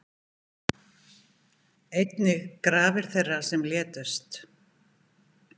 Einnig grafir þeirra sem létust